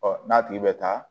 Ɔ n'a tigi bɛ taa